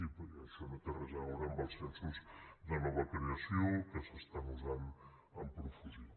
i això no té res a veure amb els censos de nova creació que s’usen amb profusió